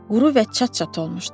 Quru və çat-çat olmuşdu.